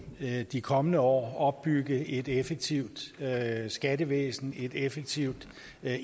af de kommende år opbygge et effektivt skattevæsen et effektivt